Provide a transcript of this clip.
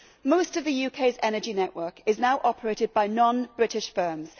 Most of the UK's energy network is now operated by non British firms.